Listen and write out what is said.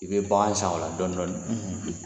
I bɛ bagan san o la dɔɔni dɔɔni,